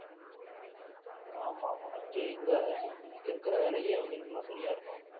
ஆமா ஆமா அங்கே எங்க இங்கே இருக்கிற வேலையே இவங்களுக்கு எல்லாம் சரியா இருக்கும்